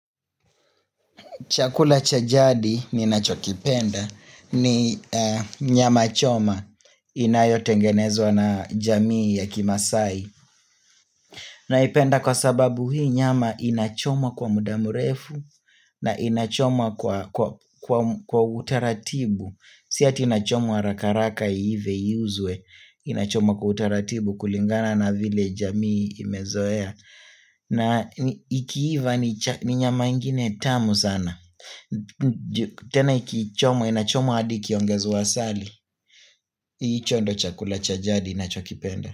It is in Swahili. Chakula cha jadi ninachokipenda ni nyama choma, inayo tengenezwa na jamii ya kimasai. Ninaipenda kwa sababu hii nyama inachomwa kwa muda mrefu na inachomwa kwa utaratibu. Si ati inachomwa harakaharaka iive iuzwe. Inachomwa kwa utaratibu kulingana na vile jamii imezoea. Na ikiiva ni nyama ingine tamu sana. Tena ikichomwa inachomwa hadi ikiongezwa asali. Icho ndo chakula cha jadi ninachokipenda.